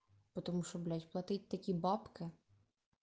потому что блять платить такие бабки